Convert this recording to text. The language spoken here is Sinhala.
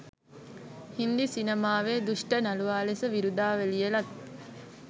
හින්දි සිනමාවේ දුෂ්ට නළුවා ලෙස විරුදාවලිය ලත්